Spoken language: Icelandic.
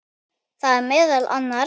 Það eru meðal annars